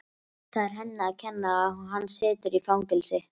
Það er henni að kenna að hann situr í fangelsi.